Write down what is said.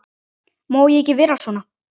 Má ég ekki vera svona?